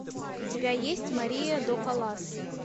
у тебя есть мария до каллас